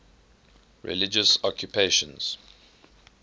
religious occupations